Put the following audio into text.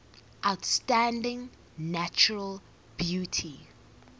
outstanding natural beauty